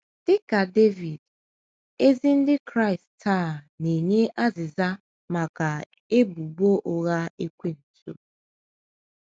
Dị ka Devid, ezi Ndị Kraịst taa na - enye azịza maka ebubo ụgha Ekwensu.